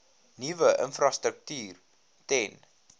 nuwe infrastruktuur ten